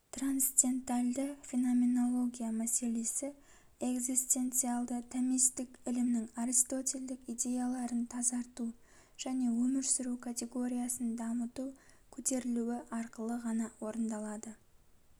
трансценденталды-феноменология мәселесі экзистенциалды-томистік ілімнің аристотельдік идеяларын тазарту және өмір сүру категориясын дамыту көтерілуі арқылы ғана орындалады